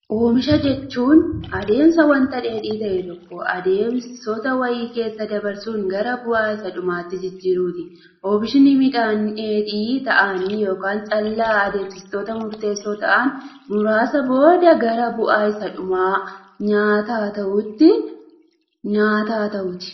Oomisha jechuun adeemsa waanta dheedhii ta'e tokko, adeemsota wayii keessa dabarsuun gara bu'aa isa dhumaatti jijjiiruuti. Oomishni midhaan dheedhii ta'anii yookaan callaa adeemsota murteessoo ta'an muraasa booda gara bu'aa isa dhumaa nyaata ta'u.